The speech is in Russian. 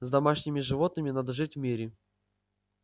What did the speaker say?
с домашними животными надо жить в мире